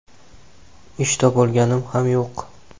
Ish topolganim ham yo‘q.